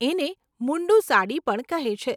એને મુન્ડું સાડી પણ કહે છે.